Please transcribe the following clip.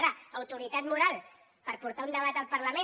ara autoritat moral per portar un debat al parlament